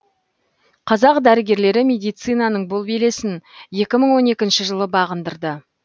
қазақ дәрігерлері медицинаның бұл белесін екі мың он екінші жылы бағындырды